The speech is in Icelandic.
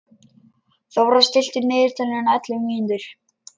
Þórar, stilltu niðurteljara á ellefu mínútur.